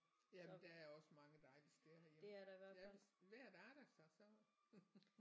Jamen der er også mange dejlige steder herhjemme det er hvis vejret arter sig så